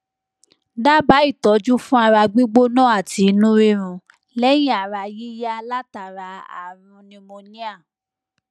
dábàá itọju fún ara gbígbóná ati inú rírun leyin ara yiya látara arun pneumonia